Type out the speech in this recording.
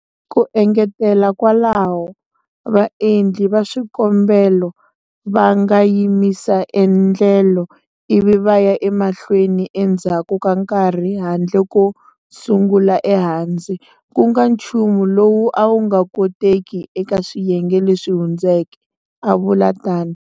Ku engetela kwalaho, vaendli va swikombelo va nga yimisa endlelo ivi va ya emahlweni endzhaku ka nkarhi handle ko sungula ehansi, ku nga nchumu lowu a wu nga koteki eka swiyenge leswi hundzeke, a vula tano.